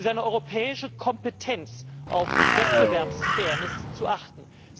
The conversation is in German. Seine europäische Kompetenz ist, auf Wettbewerbsfairness zu achten.